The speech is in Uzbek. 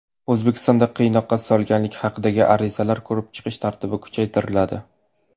O‘zbekistonda qiynoqqa solganlik haqidagi arizalarni ko‘rib chiqish tartibi kuchaytiriladi.